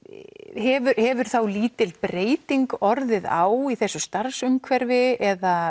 hefur hefur þá lítil breyting orðið á í þessu starfsumhverfi eða